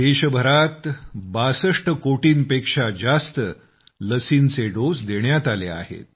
देशभरात 62 कोटी पेक्षा जास्त लसींचे डोस देण्यात आले आहेत